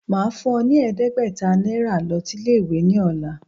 Màá fún ọ ní ẹ̀ẹ́dẹ́gbẹ̀ta Náírà lo sí Ilé ìwé ní òla